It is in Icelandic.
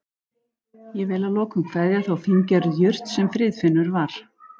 Ég vil að lokum kveðja þá fíngerðu jurt sem Friðfinnur var.